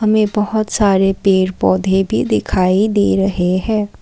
हमें बहुत सारे पेड़ पौधे भी दिखाई दे रहे है।